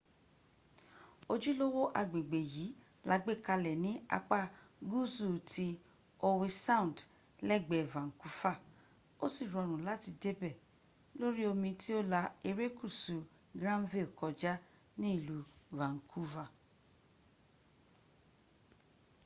ojúlówó agbègbè yìí la gbé kalẹ̀ ní apá gúúsù ti howe sound lẹ́gbẹ̀ẹ́ vancouver ó sì rọrùn láti débẹ̀ lórí omi tí ó la erékùsù granville kọjá ní ìlú vancouver